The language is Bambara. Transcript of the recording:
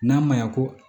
N'a ma ɲa ko